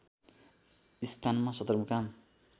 स्थानमा सदरमुकाम